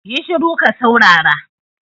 Yi shuru ka saurara